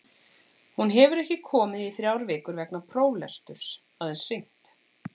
Hún hefur ekki komið í þrjár vikur vegna próflesturs, aðeins hringt.